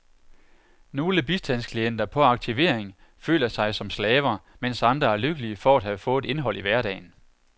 Nogle bistandsklienter på aktivering føler sig som slaver, mens andre er lykkelige for at have fået et indhold i hverdagen.